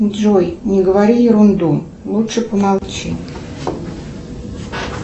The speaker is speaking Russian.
джой не говори ерунду лучше помолчи